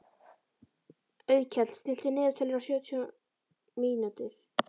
Auðkell, stilltu niðurteljara á sjötíu mínútur.